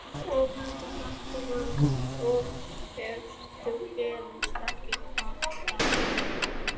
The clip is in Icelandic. Ónefndur fréttamaður: Og ef það gerist ekki, hvað þá?